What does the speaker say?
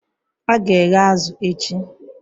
A ga-eghe azụ̀ echi